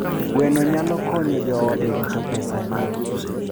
Gweno nyalo konyo joode rito pesagi.